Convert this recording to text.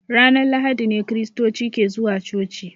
Ranar lahadi ne kiristoci ke zuwa coci.